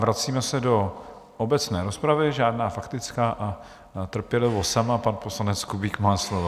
Vracíme se do obecné rozpravy, žádná faktická a trpělivost sama - pan poslanec Kubík má slovo.